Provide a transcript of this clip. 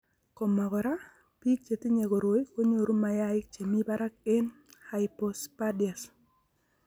Koma kora, bik che tinye koroi konyoru mayaik che mi barak ak hypospadias..